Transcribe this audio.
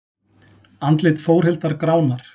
Andlit Þórhildar gránar.